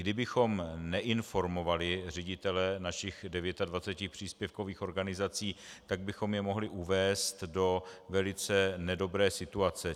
Kdybychom neinformovali ředitele našich 29 příspěvkových organizací, tak bychom je mohli uvést do velice nedobré situace.